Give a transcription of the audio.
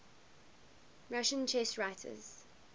russian chess writers